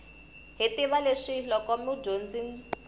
hi tiva leswi loko mudyondzi